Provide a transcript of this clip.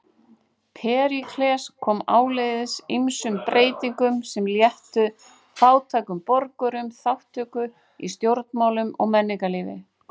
Períkles kom áleiðis ýmsum breytingum sem léttu fátækum borgurum þátttöku í stjórnmálum og menningarlífi.